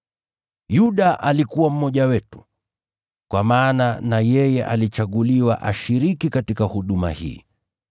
Yuda alikuwa mmoja wetu, kwa maana na yeye alichaguliwa ashiriki katika huduma hii.”